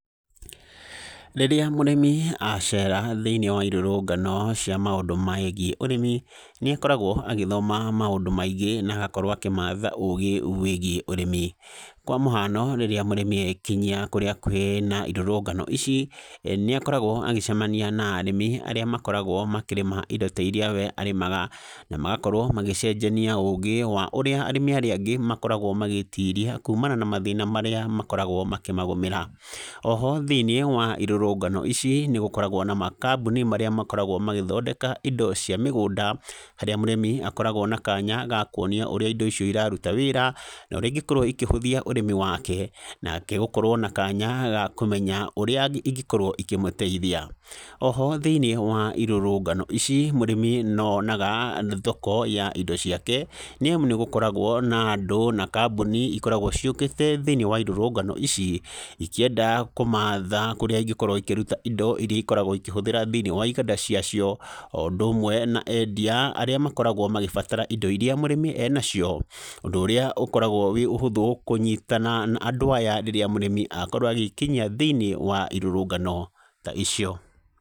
Rĩrĩa mũrĩmi acera thĩiniĩ wa irũrũngano cia maũndũ megiĩ ũrĩmi, nĩ akoragwo agĩthoma maũndũ maingĩ na agakorwo akĩmatha ũgĩ wĩgiĩ ũrĩmi , kwa mũhano rĩrĩa mũrĩmi ekinyia kũrĩa kwĩna irũrũngano ici ,nĩ akoragwo agĩcemania na arĩmi arĩa makoragwo makĩrĩma indo ta iria we arĩmaga , na magakorwo magĩcenjania ũgĩ wa ũrĩa arĩmi arĩa angĩ makoragwo magĩtiria kumana na mathĩna marĩa makoragwo makĩmagũmĩra, o ho thĩiniĩ wa irũrũngano ici , nĩ gũkoragwo na makambũni marĩa makoragwo magĩthondeka indo cia mũgũnda harĩa mũrĩmi akoragwo na kanya ga kwonio ũrĩa indo icio iraruta wĩra , na ũrĩa ingĩkorwo ikĩhũthia ũrĩmi wake , nake gũkorwo na kanya ga kũmenya ũrĩa ingĩkorwo ikĩmũteithia, o ho thĩiniĩ wa irũrũngano ici mũrĩmi no onaga thoko ya indo ciake , nĩ amu nĩgũkoragwo na andũ na kambũni ikoragwo ciũkĩte thĩiniĩ wa irũrũngano ici ikĩenda kũmatha kũrĩa ingĩkorwo ikĩruta indo iria ikoragwo ikĩhũthĩra thĩiniĩ wa iganda cia cio, o ũndũ ũmwe na endia arĩa makoragwo magĩbatara indo iria mũrĩmi ena cio , ũndũ ũrĩa ũkoragwo ũhũthũ kũnyitana na andũ aya rĩrĩa mũrĩmi akorwo agĩkinyia thĩiniĩ wa irũrũngano ta icio.